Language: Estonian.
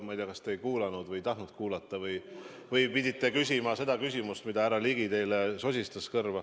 Ma ei tea, kas te ei kuulanud või ei tahtnud kuulata või pidite küsima selle küsimuse, mille härra Ligi teile kõrva sosistas.